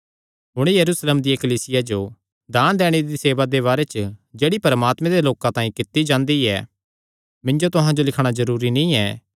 हुण यरूशलेमे दिया कलीसिया जो दान दैणे दी सेवा दे बारे च जेह्ड़ी परमात्मे दे लोकां तांई कित्ती जांदी ऐ मिन्जो तुहां जो लिखणा जरूरी नीं ऐ